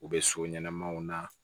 U bɛ so ɲɛnɛmaw na